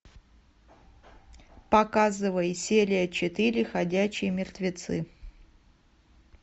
показывай серия четыре ходячие мертвецы